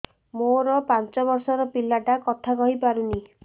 ମୋର ପାଞ୍ଚ ଵର୍ଷ ର ପିଲା ଟା କଥା କହି ପାରୁନି